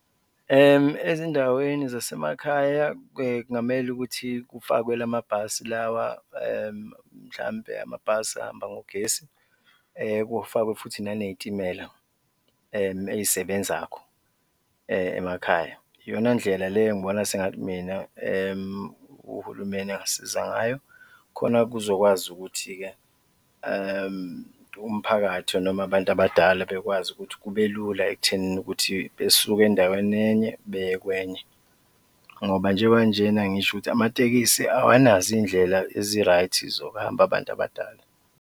Ezindaweni zasemakhaya kungamele ukuthi kufakwe lamabhasi lawa mhlawumbe amabhasi ahamba ngogesi kufakwe futhi nanezitimela ey'sebenzakho emakhaya. Iyona ndlela le engibona sengathi mina uhulumeni angasiza ngayo khona kuzokwazi ukuthi-ke umphakathi noma abantu abadala bekwazi ukuthi kubelula ekuthenini ukuthi besuke endaweni enye beye kwenye ngoba njengoba njena ngisho ukuthi amatekisi awanazo iy'ndlela ezi-right-i zokuhamba abantu abadala.